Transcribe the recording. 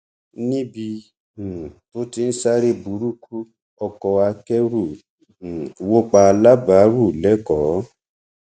níbi um tó ti ń sáré burúkú ọkọ akẹrù um wọ pa alábàárù lẹkọọ